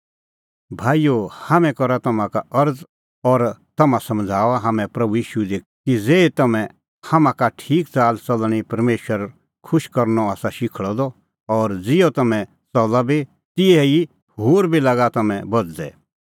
भाईओ हाम्हैं करा तम्हां का अरज़ और तम्हां समझ़ाऊआ हाम्हैं प्रभू ईशू दी कि ज़ेही तम्हैं हाम्हां का ठीक च़ाल च़लणीं परमेशर खुश करनअ आसा शिखल़अ द और ज़िहअ तम्हैं च़ला बी तिहै ई होर बी लागा तम्हैं बझ़दै